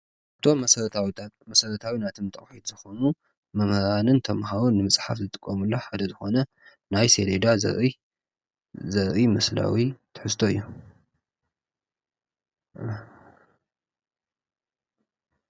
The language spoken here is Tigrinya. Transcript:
እቶም መሰረታዊታት መሰረታዊ ናይ ትምህርቲ ጠቅሚ ስለዝኾኑ መምህራን ተማሃሮን ንምፅሓፍ ዝጥቀሙሉ ሓደ ዝኾነ ናይ ሰሌዳ ዘረኢ ምስላዊ ትሕዝቶ እዩ።